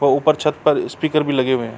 वो ऊपर छत पर स्पीकर भी लगे हुए है।